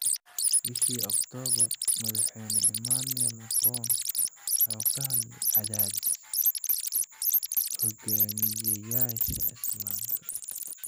Bishii Oktoobar, madaxweyne Emmanuel Macron wuxuu ka hadlay "cadaadis" hoggaamiyeyaasha Islaamka.